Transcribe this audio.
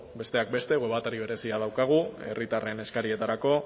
besteak beste web atari berezia daukagu herritarren eskarietarako